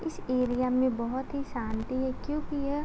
इस एरिया में बोहोत ही शांति है क्योंकि ये --